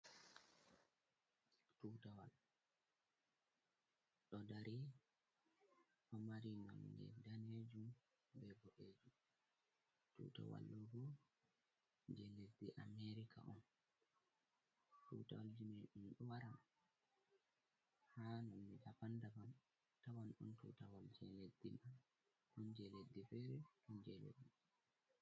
Tuutawal ɗo dari, ɗo mari nonnde daneejum bee boɗeejum. Tuutawal may bo jey leddi America on. Tuutawalji may ɗum ɗo wara haa nonnde "daban-daban, a tawan ɗon tutawal jey leddi mon, ɗon jey leddi feere ɗon jey leddi.